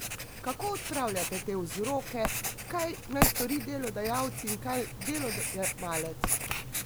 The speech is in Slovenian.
Kako odpravljati te vzroke, kaj naj stori delodajalci in kaj delojemalec?